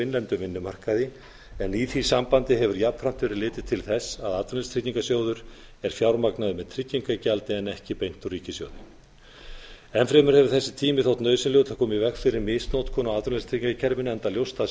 innlendum vinnumarkaði en í því sambandi hefur jafnframt verið litið til þess að atvinnuleysistryggingasjóður er fjármagnaður með tryggingagjaldi en ekki beint úr ríkissjóði enn fremur hefur þessi tími þótt nauðsynlegur til að koma í veg fyrir misnotkun á atvinnuleysistryggingakerfinu enda ljóst að